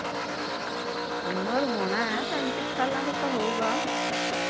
ਉਮਰ ਹੋਣਾ ਐ ਪੈਂਤੀ ਕੁ ਸਾਲਾਂ ਦਾ ਤਾਂ ਹੋਉਗਾ